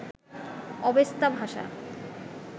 Avesta ভাষা